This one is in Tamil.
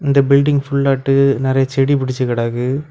இந்த பில்டிங் புல்லாட்டு நறைய செடி புடிச்சு கிடக்கு.